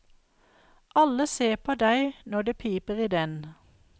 Alle ser på deg når det piper i den.